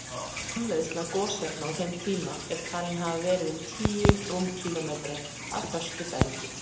Framleiðsla gosefna á þeim tíma er talin hafa verið um tíu rúmkílómetrar af föstu bergi.